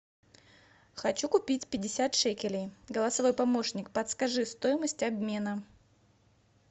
хочу купить пятьдесят шекелей голосовой помощник подскажи стоимость обмена